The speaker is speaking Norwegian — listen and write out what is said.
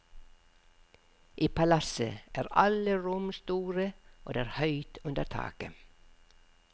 I palasset er alle rom store, og det er høyt under taket.